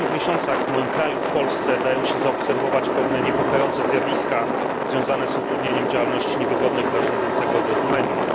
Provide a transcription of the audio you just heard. W ostatnich miesiącach w moim kraju, w Polsce, dają się zaobserwować pewne niepokojące zjawiska związane z utrudnianiem działalności niewygodnych dla rządzącego obozu mediów.